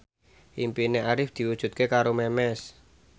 impine Arif diwujudke karo Memes